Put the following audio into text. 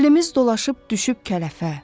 Əlimiz dolaşıb düşüb kələfə.